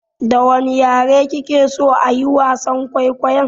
Da wane yare kike so ayi wasan kwaikwayon?